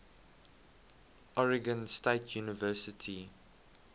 oregon state university